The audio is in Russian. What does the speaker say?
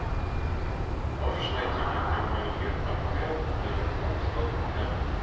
можешь найти мне прямой эфир апл ливерпуль с тоттенхэмом